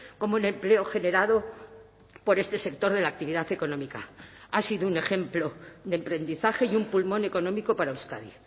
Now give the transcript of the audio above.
como el empleo generado por este sector de la actividad económica ha sido un ejemplo de emprendizaje y un pulmón económico para euskadi